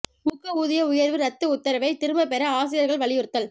ஊக்க ஊதிய உயா்வு ரத்து உத்தரவை திரும்பப் பெற ஆசிரியா்கள் வலியுறுத்தல்